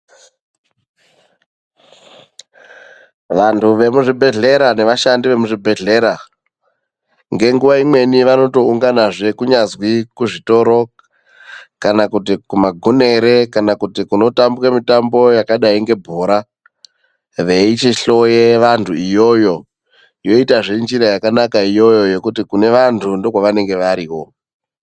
Vantu vemuzvibhedhlera nevashandi vemuzvibhedhlera ngenguva imweni vanotounganazve kunyazi kuzvitoro kana kuti gumagunere kana kuti kunotambwe bhora, veichihloya vantu iyoyo yoitazve njira yakanaka iyoyo ngekuti kune vantu ndokwavanenge variwo.